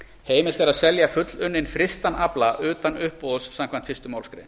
heimilt er að selja fullunninn frystan afla utan uppboðs samkvæmt fyrstu málsgrein